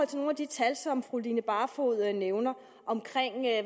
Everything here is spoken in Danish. til nogle af de tal som fru line barfod nævner om